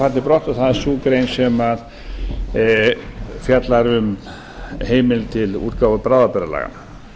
en það er sú grein sem fjallar um heimild til útgáfu bráðabirgðalaga